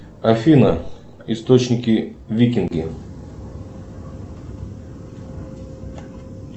афина источники викинги